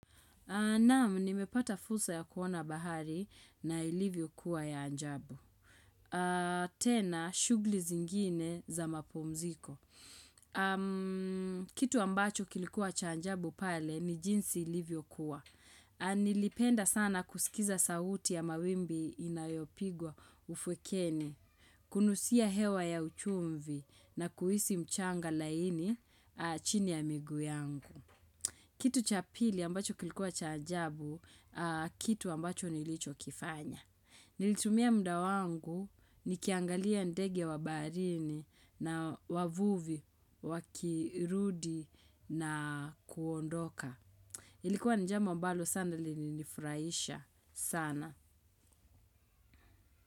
Naam, nimepata fursa ya kuona bahari na ilivyo kuwa ya ajabu. Tena, shughuli zingine za mapumziko. Kitu ambacho kilikuwa cha ajabu pale ni jinsi ilivyo kuwa. Nilipenda sana kusikiza sauti ya mawimbi inayopigwa ufwekene, kunusia hewa ya uchumvi na kuhisi mchanga laini chini ya miguu yangu. Kitu cha pili ambacho kilikuwa cha ajabu, kitu ambacho nilicho kifanya. Nilitumia muda wangu nikiangalia ndege wa baharini na wavuvi, wakirudi na kuondoka. Ilikuwa ni jambo mbalo sana lilinifurahisha sana.